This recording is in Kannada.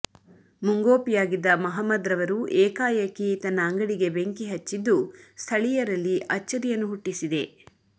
ಮುಂಗೋಪಿಯಾಗಿದ್ದ ಮಹಮ್ಮದ್ರವರು ಏಕಾಏಕಿ ತನ್ನ ಅಂಗಡಿಗೆ ಬೆಂಕಿ ಹಚ್ಚಿದ್ದು ಸ್ಥಳಿಯರಲ್ಲಿ ಅಚ್ಚರಿಯನ್ನು ಹುಟ್ಟಿಸಿದೆ